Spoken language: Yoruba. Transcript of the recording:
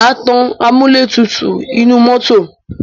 Má tan amúlẹ̀tutù inú mọ́tọ̀.